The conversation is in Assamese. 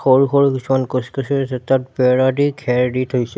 সৰু সৰু কিছুমান গছ-গছনি আছে তাত বেৰা দি ঘেৰ দি থৈছে।